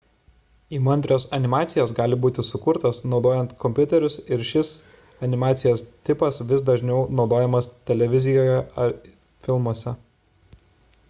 įmantrios animacijos gali būti sukurtos naudojant kompiuterius ir šis animacijos tipas vis dažniau naudojamas televizijoje ir filmuose